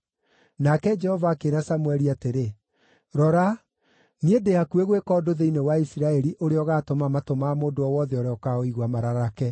Nake Jehova akĩĩra Samũeli atĩrĩ, “Rora, niĩ ndĩ hakuhĩ gwĩka ũndũ thĩinĩ wa Isiraeli ũrĩa ũgaatũma matũ ma mũndũ o wothe ũrĩa ũkaũigua mararake.